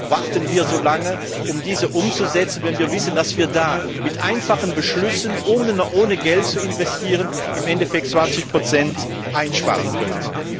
Warum warten wir so lange, um diese umzusetzen, wenn wir wissen, dass wir da mit einfachen Beschlüssen, ohne Geld zu investieren, im Endeffekt 20 einsparen könnten?